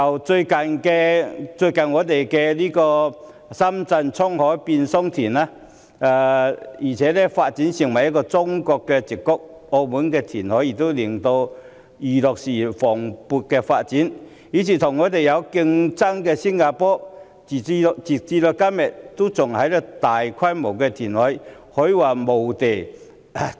與我們最接近的深圳，倉海變桑田，並且發展成中國的矽谷；澳門填海亦促使娛樂事業蓬勃發展，而與我們競爭的新加坡，時至今日仍然大規模填海。